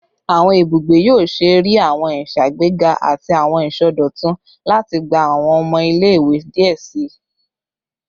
Awọn ibugbe yoo ṣee rii awọn iṣagbega ati awọn isọdọtun lati gba awọn ọmọ ile-iwe diẹ sii